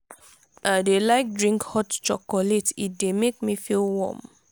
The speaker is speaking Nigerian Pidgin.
i dey like drink hot chocolate e dey make me feel warm.